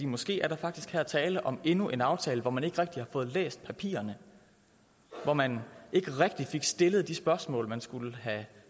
måske er der faktisk her tale om endnu en aftale hvor man ikke rigtig har fået læst papirerne og hvor man ikke rigtig fik stillet de spørgsmål man skulle have